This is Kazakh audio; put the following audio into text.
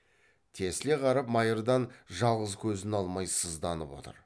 тесіле қарап майырдан жалғыз көзін алмай сызданып отыр